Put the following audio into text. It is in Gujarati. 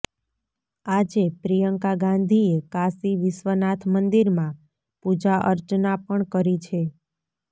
આજે પ્રિયંકા ગાંધીએ કાશી વિશ્વનાથ મંદિરમાં પૂજાઅર્ચના પણ કરી છે